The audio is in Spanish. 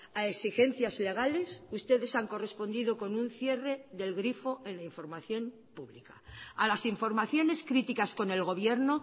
a exigencias legales ustedes han correspondido con un cierre del grifo en la información pública a las informaciones críticas con el gobierno